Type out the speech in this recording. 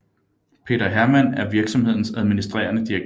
Peter Hermann er virksomhedens administrerende direktør